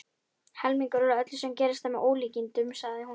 Helmingurinn af öllu sem gerist er með ólíkindum, sagði hún.